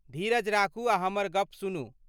धीरज राखू आ हमर गप सुनू।